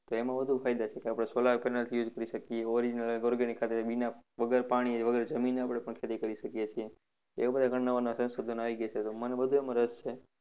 તો એમા વધુ ફાયદા છે કે આપણે Solar panel થી કરી શકીએ original organic ખાતર बिना વગર પાણીએ વગર જમીને પણ આપણે ખેતી કરી શકીએ છીએ. એવા બધા ઘણા નવા નવા સંશોધનો આવી ગયા છે તો મને બધામાં રસ છે.